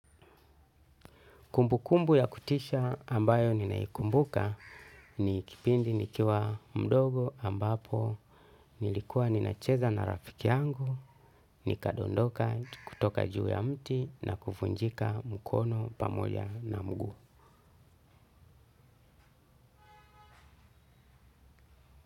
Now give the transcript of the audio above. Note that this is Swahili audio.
Kumbukumbu ya kutisha ambayo ninaikumbuka ni kipindi nikiwa mdogo ambapo nilikuwa ninacheza na rafiki yangu, nikadondoka kutoka juu ya mti na kuvunjika mkono pamoja na mguu.